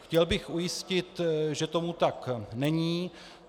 Chtěl bych ujistit, že tomu tak není.